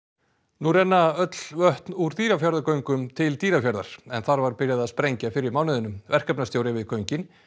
nú renna öll vötn úr Dýrafjarðargöngum til Dýrafjarðar en þar var byrjað að sprengja fyrr í mánuðinum verkefnastjóri við göngin